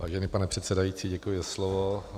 Vážený pane předsedající, děkuji za slovo.